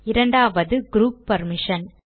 இரண்டாவது group permission